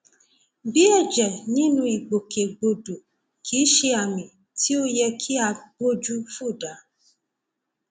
bí ẹjẹ nínú ìgbòkègbodò kìí ṣe àmì tí ó yẹ kí a gbójú fò dá